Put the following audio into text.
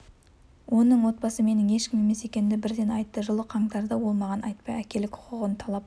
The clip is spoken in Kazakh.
оның отбасы менің ешкім емес екенімді бірден айтты жылы қаңтарда ол маған айтпай әкелік құқығын талап